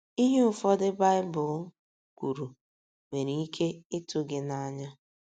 Ihe ụfọdụ Baịbụl kwuru nwere ike ịtụ gị n’anya.